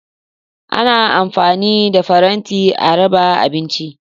Ana amfani da faranti a raba abinci.